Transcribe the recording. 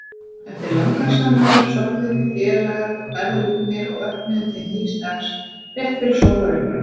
Eftir langar samræður sofnuðum við félagar ferðlúnir og vöknuðum til nýs dags rétt fyrir sólarupprás.